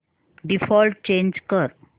default change कर